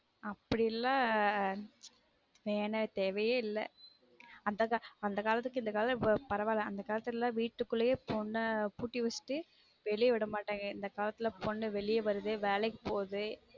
அப்டி இல்ல வேணான் தேவையே இல்ல அந்த காலத்துக்கு இந்த காலம் பரவாயில்ல அந்த காலத்துல வீட்டுக்குள்ளே பொன்ன பூட்டிவெச்சுட்டு வெளியே விடமாட்டாங்க இந்த காலத்துல பொன்னு வெளிய வருது வேலைக்கு போகுது